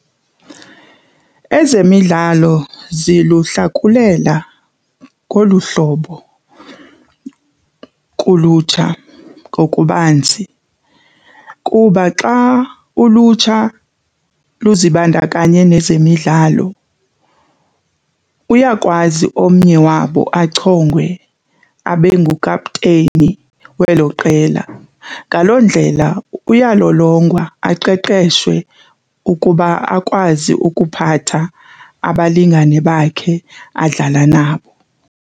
Ezemidlalo ziluhlakulela ngolu hlobo kulutsha ngokubanzi kuba xa ulutsha luzibandakanye nezemidlalo, uyakwazi omnye wabo achongwe abe ngukapteyini welo qela. Ngaloo ndlela uyalolongwa aqeqeshwe ukuba akwazi ukuphatha abalingani bakhe adlala nabo.